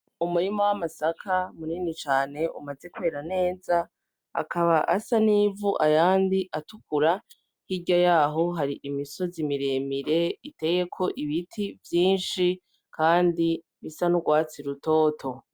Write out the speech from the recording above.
Umurima w'amasaka munini cane umaze kwera neza akaba asa n'ivu ayandi atukura hirya yaho hari imisozi miremire iteyeko ibiti vyinshi kandi bisa n'ugwatsi rutoto.